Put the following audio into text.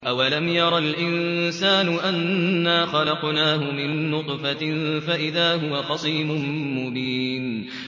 أَوَلَمْ يَرَ الْإِنسَانُ أَنَّا خَلَقْنَاهُ مِن نُّطْفَةٍ فَإِذَا هُوَ خَصِيمٌ مُّبِينٌ